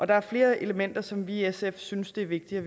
der er flere elementer som vi i sf synes det er vigtigt